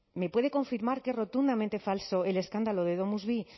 me puede confirmar que es rotundamente falso el escándalo de domusvi